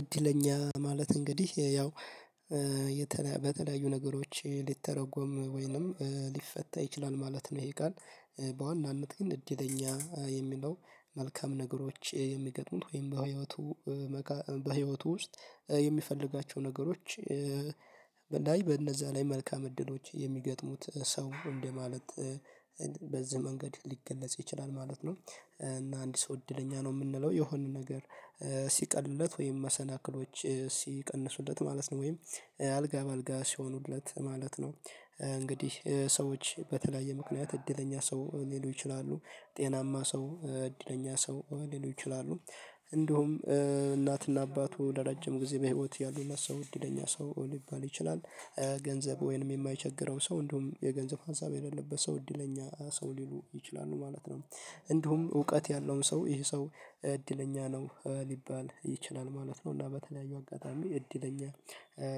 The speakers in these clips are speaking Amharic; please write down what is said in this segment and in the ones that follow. እድለኛ ማለት እንግዲህ ያው በተለያዩ ነገሮች ሊተረጎም ወይንም ሊፈታ ይችላል ማለት ነው። ይሄ ቃል በዋናነት ግን እድለኛ የሚለው መልካም ነገሮች የሚገጥሙት ወይም በህይወቱ በህይወቱ ውስጥ የሚፈልጋቸው ነገሮች በእንደዚህ በእነዛ ላይ መልካም እድሎች የሚገጥሙት ሰው እንደማለት በዚህ መንገድ ሊገለጽ ይችላል ማለት ነው። እና አንድ ሰው እድለኛ ነው የምንለው የሆነ ነገር ሲቀልለት ወይም መሰናክሎች ሲቀንሱለት ማለት ነው ወይም አልጋ በአልጋ ሲሆኑለት ማለት ነው። እንግዲህ ሰዎች በተለያየ ምክንያት እድለኛ ሰው ሊሉ ይችላሉ። ጤናማ ሰው እድለኛ ሰው ሊሉ ይችላሉ። እንዲሁም እናትና አባቱ ለረጅም ጊዜ በህይወት ያሉት ሰው እድለኛ ሰው ሊባል ይችላል። ገንዘብ ወይንም የማይቸገረው ሰው እንደውም የገንዘብ ሀሳብ የሌለበት ሰው እድለኛ ሰው ሊሉ ይችላሉ ማለት ነው። እንዲሁም እውቀት ያለውን ሰው ይሄ ሰው እድለኛ ነው ሊባል ይችላል ማለት ነው። እና በተለያዩ አጋጣሚ እድለኛ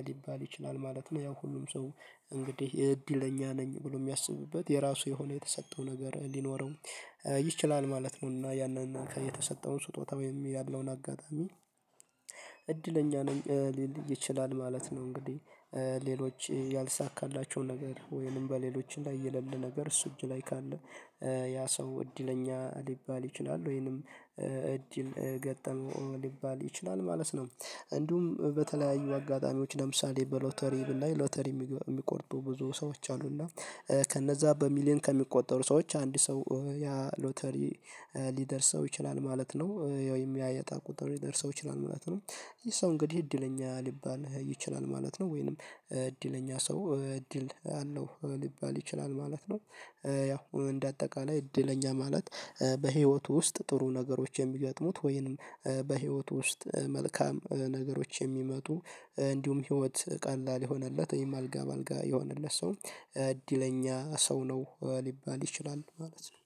ሊባል ይችላል ማለት ነው። ያው ሁሉም ሰው እንግዲህ የእድለኛ ነኝ ብሎ የሚያስብበት የራሱ የሆነ የተሰጠው ነገር ሊኖረው ይችላል ማለት ነውና። ያንን ከየተሰጠውን ስጦታ ወይም የሚል ያለውን አጋጣሚ እድለኛ ነኝ ሊል ይችላል ማለት ነው። እንግዲህ ሌሎች ያልተሳካላቸው ነገር ወይንም በሌሎች ላይ የሌለ ነገር እሱ እጅ ላይ ካለ ያ ሰው እድለኛ ሊባል ይችላል ወይንም እድል ገጠመው ሊባል ይችላል ማለት ነው። እንዲሁም በተለያዩ አጋጣሚዎች ለምሳሌ በሎተሪ ላይ ሎተሪ የሚቆርጡ ብዙ ሰዎች አሉና እና ከነዛ በሚሊየን ከሚቆጠሩ ሰዎች አንድ ሰው ያ ሎተሪ ሊደርስ ሰው ይችላል ማለት ነው። ወይም የእጣ ቁጥር ሊደርሰው ይችላል ማለት ነው። ይሄ ሰው እንግዲህ እድለኛ ሊባል ይችላል ማለት ነው። ወይንም እድለኛ ሰው እድል አለው ሊባል ይችላል ማለት ነው። ያው እንደ አጠቃላይ እድለኛ ማለት በህይወቱ ውስጥ ጥሩ ነገሮች የሚገጥሙት ወይንም በህይወቱ ውስጥ መልካም ነገሮች የሚመጡ እንዲሁም ህይወት ቀላል የሆነለት ወይም አልጋ በአልጋ የሆነለት ሰው እድለኛ ሰው ነው ሊባል ይችላል ማለት ነው።